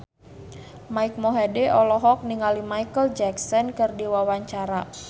Mike Mohede olohok ningali Micheal Jackson keur diwawancara